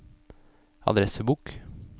adressebok